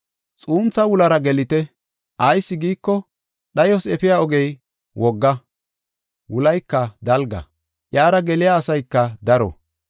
“Xuuntha wulara gelite; ayis giiko, dhayos efiya ogey wogga, wulayka dalga. Iyara geliya asayka daro.